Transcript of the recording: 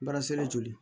Baara seli joli